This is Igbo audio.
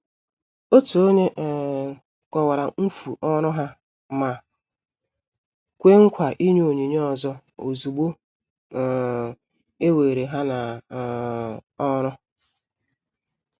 Òtù ònye um kọ̀wara mfu ọrụ ha ma kwè nkwa ịnye onyinye ọzọ ozúgbo um e were ha n' um ọrụ.